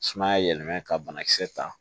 Sumaya yɛlɛmɛn ka bana kisɛ ta